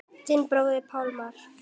Þinn bróðir Pálmar.